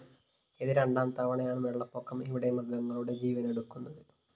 ഇത് രണ്ടാം തവണയാണ് വെളളപ്പൊക്കം ഇവിടെ മൃഗങ്ങളുടെ ജീവനെടുക്കുന്നത്